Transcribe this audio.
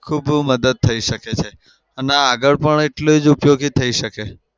તો બઉ મદદ થઇ શકે છે. અને આગળ પણ એટલું જ ઉપયોગી થઇ શકે છે.